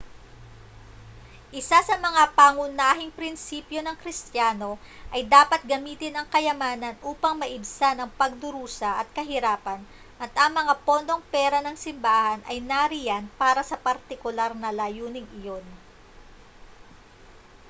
isa sa mga pangunahing prinsipyo ng kristiyano ay dapat gamitin ang kayamanan upang maibsan ang pagdurusa at kahirapan at ang mga pondong pera ng simbahan ay nariyan para sa partikular na layuning iyon